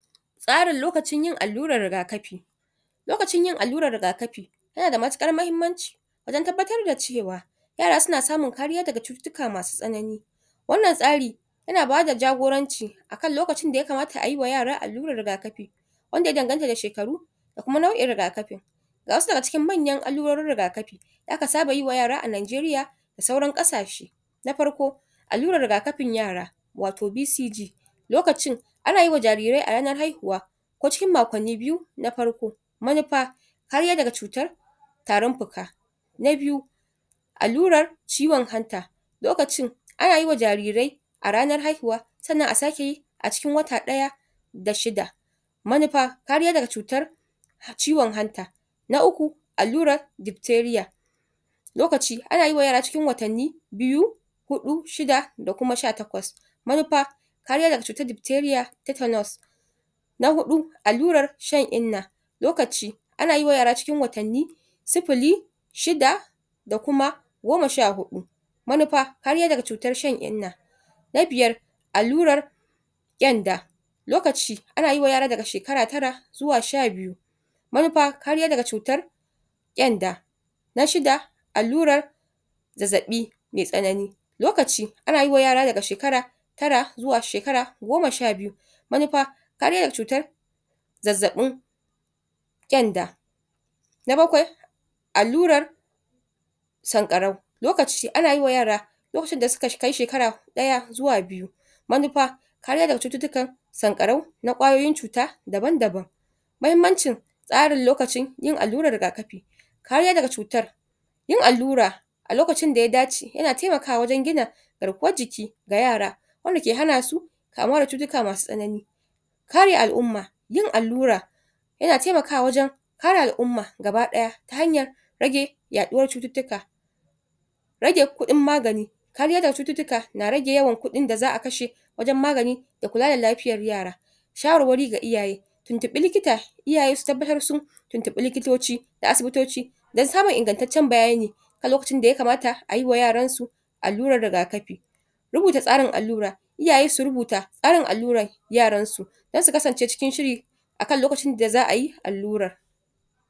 ? Yana da matuƙar muhimmanci wajen girbin abarba, saboda wannan shuka tana buƙatar ruwa sosai, musamman a lokutan da babu ruwa.? Ga hanyoyin noma da manoma zasu bi; amfani da ruwan sama da kyau. Manoma suna? ajiyar ruwa, a koguna kusa da gonakin, domin su rinƙa tara ruwan sama. Wannan zai taimaka a? lokacin da ruwan sama bai iso ba. Irin tsarin ban ruwa na zamani;?? idan manoma suna da damar amfani da fasaha, suyi ƙoƙari suyi amfani da ban ruwan? na bututu. Wannan tsarin? yana ba shuka ruwa kai tsaye, ta ƙasa inda tushen ta yake, ba tare da ɓarnata ruwan ba.? Dabarun kiyaye danshi a ƙasa; manoma su?? rufe ƙasa da tarkacen shuka ko ganye, domin hana wannan busar da danshi da sauri, hakan zai taimaka wajen rage yawar? buƙatar ruwa.?? A shuka abarba a wuraren da? ƙasa ke da kyau, yana riƙe ruwa amma ba inda yake tara ruwa ba, ko ruwa ke kwanciya. Amfani da rijiyoyin burtsatsai; idan gonar tana gurin da babu kogi, ko datsen ruwa, manoma zasuyi amfani da rijiyar burtsatsai, ko rigiyar gargajiya don samun da ruwa. Saita lokacin shuka dai-dai da damina; idan an shuka ta dai-dai da lokacin da ruwan sama zai fara, za a samu sauƙin amfani da ban ruwa musamman? a farkon girbi. Ƙirƙira tankuna na ruwa; manoma na iya tono tafkuna a cikin gonakin su domin tara ruwan sama. Wannan ruwa za ayi amfani dashi a lokacin da ruwan sama ya tsaya, ko a lokacin na rani. Wannan hanya tana da matuƙar muhimmanci musamman a yankunan da aka fama da rashin ruwa. Yin amfani da fasahar ban ruwa na tankoki; wannan tsari yana aiki? kamar ruwan sama. Ruwa yana fita daga bututu, yana yayyafawa saman shuka,? kamar ruwan sama, yana taimakawa idan gonar tana da girma, ko kuma? inda ake son rarraba ruwa ko ina a ciki. Zaɓin irin ƙasar da ya dace; manoma su zaɓi ƙasa mai kyau wadda zata riƙe ruwa, ammam ba mai haɗari ga ambaliya ba. Idan ƙasa tana da kyau wajen ajiyar ruwa, shukar ba zata sha wahala da sauri ba ko da ruwan sama ya tsaya a wannan lokaci.?